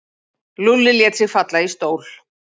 Lúlli lét sig falla í stól.